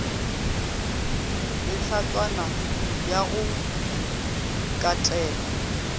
le hlatswana ya go katelwa